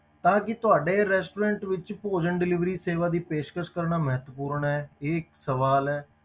ਤਾਂ ਕਿ ਤੁਹਾਡੇ restaurant ਵਿੱਚ ਭੋਜਨ delivery ਸੇਵਾ ਦੀ ਪੇਸ਼ਕਸ਼ ਕਰਨਾ ਮਹੱਤਵਪੂਰਨ ਹੈ, ਇਹ ਇੱਕ ਸਵਾਲ ਹੈ।